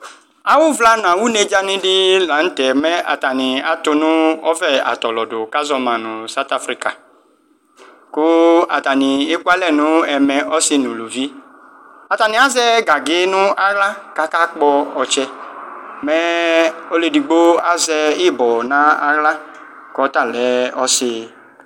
Awʋvla nʋ awʋnedza di lanʋ tɛ mɛ atani atʋnʋ ɔvɛ atɔlɔdʋ kʋ azɔma nʋ saɔt afrika kʋ atani ekʋ alɛ nʋ ɛmɛ ɔsɩ nʋ ʋlʋvi atani azɛ gangi nʋ aɣla kʋ akakpɔ ɔtsɛ mɛ ɔlʋ edigbo azɛ ibɔ nʋ aɣla kʋ ɔtalɛ ɔsɩ